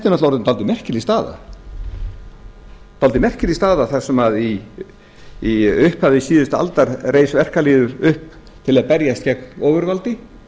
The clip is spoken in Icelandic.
þau ekki þetta er náttúrlega orðin dálítið merkileg staða þar sem í upphafi síðustu aldar reis verkalýðurinn upp til að berjast gegn ofurvaldi